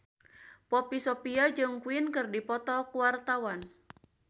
Poppy Sovia jeung Queen keur dipoto ku wartawan